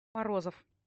морозов